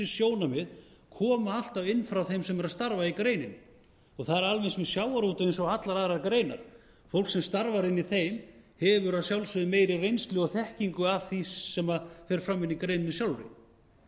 sjónarmið koma alltaf inn frá þeim sem eru að starfa í greininni það er alveg eins með sjávarútveg og allar aðrar greinar fólk sem starfar inni í þeim hefur að sjálfsögðu meiri reynslu og þekkingu af því sem fer fram inni í greininni sjálfri þannig að